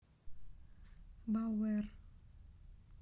бауэр